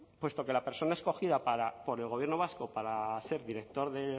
puesto que la persona escogida por el gobierno vasco para ser director